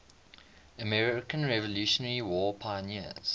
american revolutionary war prisoners